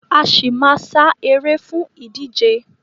A ṣì máa ma sá eré fún ìdíje.